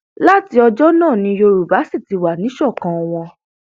láti ọjọ náà ni yorùbá sì ti wà níṣọkan wọn